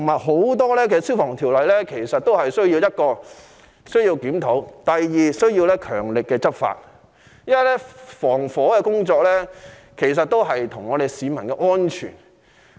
很多消防條例的確需要檢討，亦需要強力執法，因為防火工作關乎市民的安全。